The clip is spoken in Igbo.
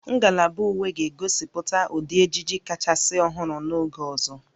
Ngalaba uwe ga-egosipụta ụdị ejiji kachasị ọhụrụ n'oge ọzọ